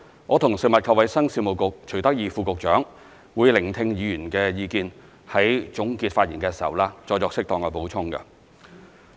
我和食物及衞生局徐德義副局長會聆聽議員的意見，在總結發言時再作適當的補充。